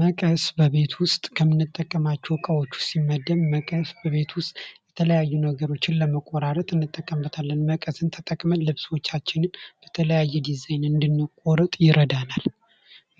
መቀስ በቤት ውስጥ ከምንጠቀማቸው ዕቃ ውስጥ ሲመደብ መቀስ በቤት ውስጥ የተለያዩ ነገሮችን ለመቁረጥ እንጠቀምበትን መቀስን ተጠቅመን ልብሶቻችንን የተለያዩ ዲዛይን እንድንቆርጥ ይረዳናል።